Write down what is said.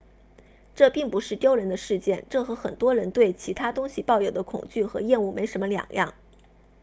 这并不是丢人的事情这和很多人对其他东西抱有的恐惧和厌恶没什么两样